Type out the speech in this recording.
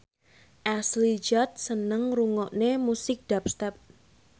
Ashley Judd seneng ngrungokne musik dubstep